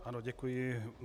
Ano, děkuji.